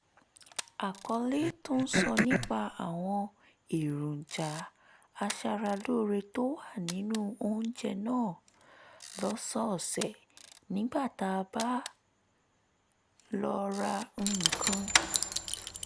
àkọlé tó sọ nípa àwọn èròjà aṣaralóore tó wà nínú oúnjẹ náà lọ́sọ̀ọ̀sẹ̀ nígbà tá a bá lọ ra nǹkan